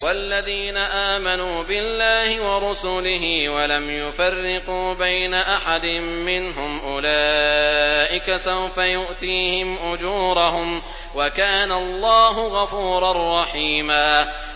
وَالَّذِينَ آمَنُوا بِاللَّهِ وَرُسُلِهِ وَلَمْ يُفَرِّقُوا بَيْنَ أَحَدٍ مِّنْهُمْ أُولَٰئِكَ سَوْفَ يُؤْتِيهِمْ أُجُورَهُمْ ۗ وَكَانَ اللَّهُ غَفُورًا رَّحِيمًا